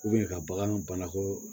ka bagan banako